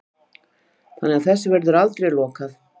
Þannig að þessu verður aldrei lokað